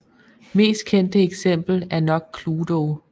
Mest kendte eksempel er nok Cluedo